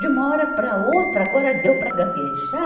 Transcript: De uma hora para a outra, agora deu para gaguejar?